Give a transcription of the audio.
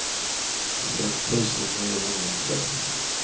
fem tusen niohundratvå